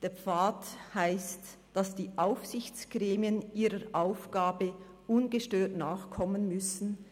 Der Pfad heisst, dass die Aufsichtsgremien ihrer Aufgabe ungestört nachkommen müssen.